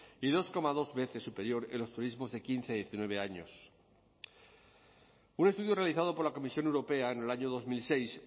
y dos coma dos veces superior en los turismos de quince a diecinueve años un estudio realizado por la comisión europea en el año dos mil seis